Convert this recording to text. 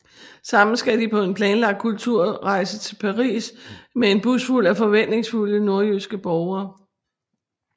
Sammen skal de på en planlagt kulturrejse til Paris med en busfuld af forventningsfulde nordjyske borgere